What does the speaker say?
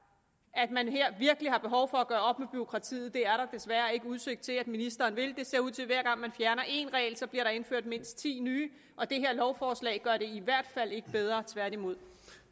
at man her virkelig har behov for at gøre op med bureaukratiet det er der desværre ikke udsigt til at ministeren vil det ser ud til at hver gang man fjerner en regel bliver der indført mindst ti nye og det her lovforslag gør det i hvert fald ikke bedre tværtimod